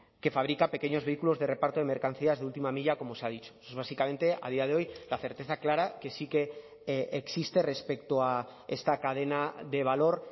que fabrica pequeños vehículos de reparto de mercancías de última milla como se ha dicho eso es básicamente la certeza clara que sí que existe respecto a esta cadena de valor